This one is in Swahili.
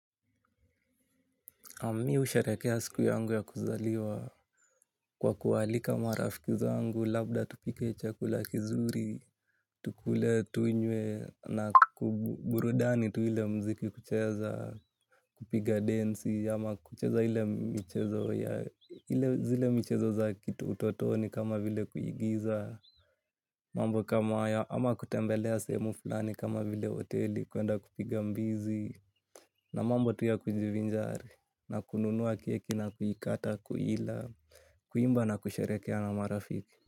Mimi husharehekea siku yangu ya kuzaliwa kwa kuwaalika marafiki zangu, labda tupike chakula kizuri, tukule tunye na kuburudani tu ile muziki kucheza. Kupiga densi, ama kucheza ile zile michezo za utotoni kama vile kuigiza, mambo kama haya ama kutembelea sehemu fulani kama vile hoteli kwenda kupiga mbizi. Na mambo tu ya kujivinjari na kununuwa kieki na kuikata kuila. Kuimba na kusherehekea na marafiki.